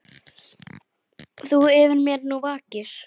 Þú yfir mér nú vakir.